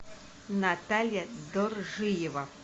наталья доржиева